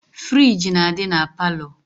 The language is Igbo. Friji na adi na parlour.